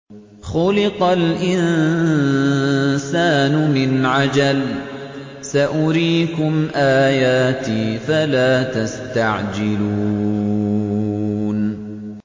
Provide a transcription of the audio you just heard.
خُلِقَ الْإِنسَانُ مِنْ عَجَلٍ ۚ سَأُرِيكُمْ آيَاتِي فَلَا تَسْتَعْجِلُونِ